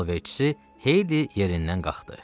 Qul alverçisi Heyli yerindən qalxdı.